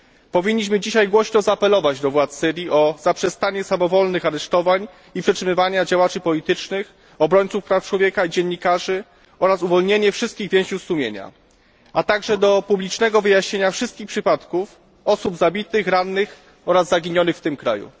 Powinniśmy dzisiaj głośno zaapelować do władz Syrii o zaprzestanie samowolnych aresztowań i przetrzymywania działaczy politycznych, obrońców praw człowieka, dziennikarzy oraz uwolnienie wszystkich więźniów sumienia, a także o publiczne wyjaśnienie wszystkich przypadków osób zabitych, rannych oraz zaginionych w tym kraju.